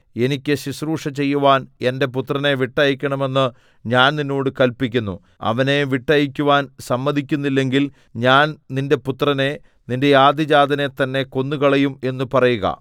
എനിക്ക് ശുശ്രൂഷ ചെയ്യുവാൻ എന്റെ പുത്രനെ വിട്ടയയ്ക്കണമെന്ന് ഞാൻ നിന്നോട് കല്പിക്കുന്നു അവനെ വിട്ടയയ്ക്കുവാൻ സമ്മതിക്കുന്നില്ലെങ്കിൽ ഞാൻ നിന്റെ പുത്രനെ നിന്റെ ആദ്യജാതനെ തന്നെ കൊന്നുകളയും എന്ന് പറയുക